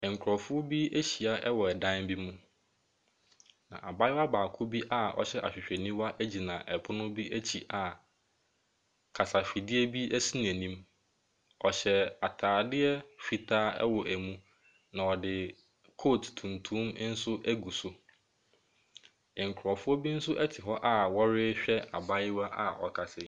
Nkurɔfo bi ahya wɔ dan bi mu, na abayewa baako bi a ɔhyɛ ahwehwɛniwa gyina pono bi akyi a kasafidie bi si n'anim. Ɔhyɛ atadeɛ fitaa wɔ mu, na ɔde coat tuntum nso agu so. Nkurɔfoɔ bi nso te hɔ a wɔrehwɛ abayewa ɔrekasa yi.